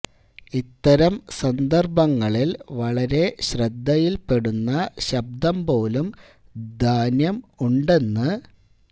ഇത്തരം സന്ദർഭങ്ങളിൽ വളരെ ശ്രദ്ധയിൽപ്പെടുന്ന ശബ്ദം പോലും ധാന്യം ഉണ്ടെന്നു